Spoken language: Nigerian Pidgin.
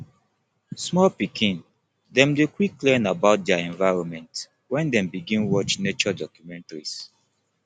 small pikin dem dey quick learn about dier environment wen dem begin watch nature documentaries